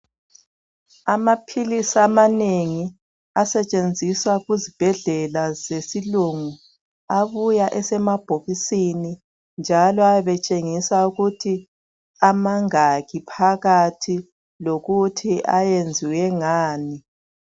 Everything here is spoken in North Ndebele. Amaphilisi amanengi asetshenziswa kuzibhedlela zesilungu ,abuya esemabhokisini, njalo ayabetshengisa ukuthi amangaki phakathi lokuthi ayenziwe ngani.